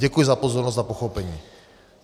Děkuji za pozornost a pochopení.